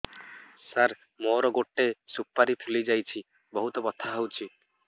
ସାର ମୋର ଗୋଟେ ସୁପାରୀ ଫୁଲିଯାଇଛି ବହୁତ ବଥା ହଉଛି